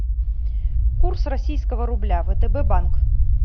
курс российского рубля втб банк